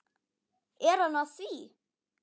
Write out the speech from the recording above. Er hann að því?